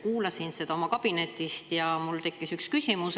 Kuulasin seda oma kabinetist ja mul tekkis üks küsimus.